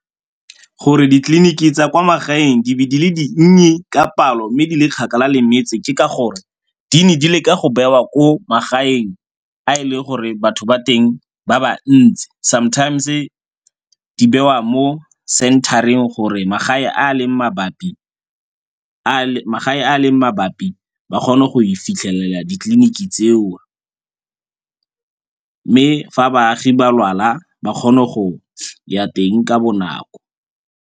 Gore ditleliniki tsa kwa magaeng di be di le dinnye ka palo mme di le kgakala le metse ke ka gore di ne di leka go bewa ko magaeng a e le gore batho ba teng ba ba ntsi, sometimes-e di bewa mo center-eng gore magae a leng mabapi ba kgone go e fitlhelela ditleliniki tseo. Mme fa baagi ba lwala ba kgone go ya teng ka bonako.